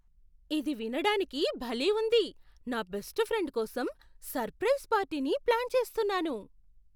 ఇది వినడానికి భలే ఉంది! నా బెస్ట్ ఫ్రెండ్ కోసం సర్ప్రైజ్ పార్టీని ప్లాన్ చేస్తున్నాను